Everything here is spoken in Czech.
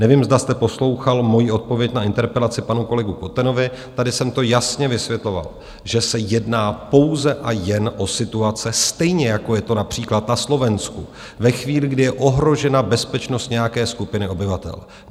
Nevím, zda jste poslouchal moji odpověď na interpelaci panu kolegu Kotenovi, tady jsem to jasně vysvětloval, že se jedná pouze a jen o situace, stejně jako je to například na Slovensku, ve chvíli, kdy je ohrožena bezpečnost nějaké skupiny obyvatel.